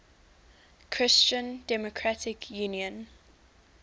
christian democratic union